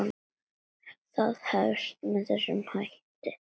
Það hefst með þessum hætti